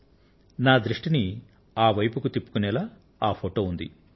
ఆ ఫోటో నా దృష్టిని ఆ వైపునకు తిప్పుకొనేలాగా ఉంది